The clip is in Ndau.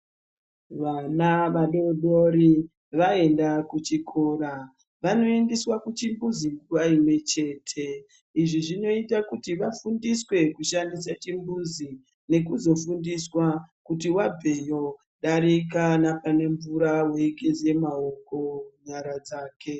Vana vadodori vaenda kuchikora vanoendeswa kuchibhuzi nguva imwe chete. Izvi zvinoita kuti vafundiswe kushandisa chibhuzi nekuzofundiswa kuti vabveyo darika nepane mvura veigeza maoko nyara dzake.